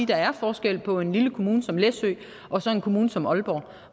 der er forskel på en lille kommune som læsø og så en kommune som aalborg